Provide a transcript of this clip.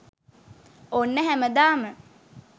ඔන්න හැමදාම